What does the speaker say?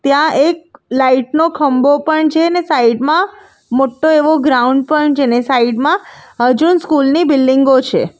ત્યાં એક લાઇટ નો ખંબો પણ છે ને સાઈડ માં મોટો એવો ગ્રાઉન્ડ પણ છે ને સાઈડ માં હજુન સ્કૂલ ની બિલ્ડીંગો છે.